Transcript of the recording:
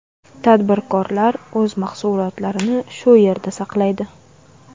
Tadbirkorlar o‘z mahsulotlarini shu yerda saqlaydi.